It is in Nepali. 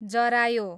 जरायो